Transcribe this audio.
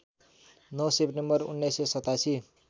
९ September १९८७